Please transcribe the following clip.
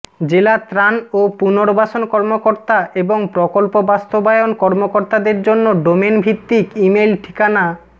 জেলা ত্রাণ ও পুর্নবাসন কর্মকর্তা এবং প্রকল্প বাস্তবায়ন কর্মকর্তাদের জন্য ডোমেন ভিত্তিক ইমেইল ঠিকানা